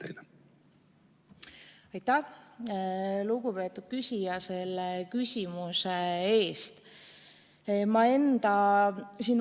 Aitäh, lugupeetud küsija, selle küsimuse eest!